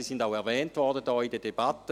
Sie wurden auch in der Debatte erwähnt: